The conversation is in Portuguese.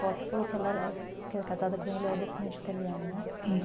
avó? Você falou que ela era que era casada com ele, era descendente italiano, né? É.